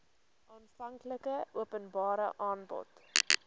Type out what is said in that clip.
aanvanklike openbare aanbod